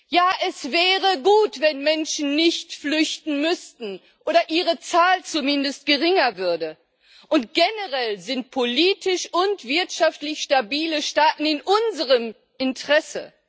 Ja, es wäre gut, wenn Menschen nicht flüchten müssten oder ihre Zahl zumindest geringer würde, und generell sind politisch und wirtschaftlich stabile Staaten in unserem Interesse.